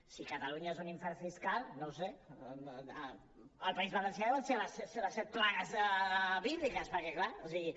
si catalunya és un infern fiscal no ho sé al país valencià deuen ser les set plagues bíbliques perquè clar o sigui